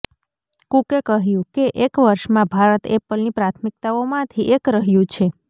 કુકે કહ્યું કે એક વર્ષમાં ભારત એપલની પ્રાથમિકતાઓમાંથી એક રહ્યું છે